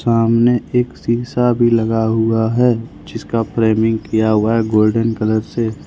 सामने एक शीशा भी लगा हुआ है जिसका फ्रेमिंग किया हुआ है गोल्डन कलर से।